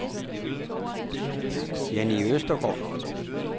Jannie Østergaard